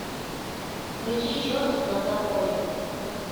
включи чертик на заборе